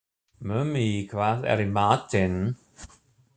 Mummi, hvað er í matinn?